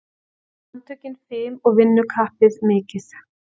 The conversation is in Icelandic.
Handtökin fim og vinnukappið mikið.